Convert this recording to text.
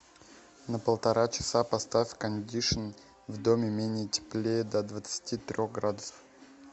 на полтора часа поставь кондишн в доме менее теплее до двадцати трех градусов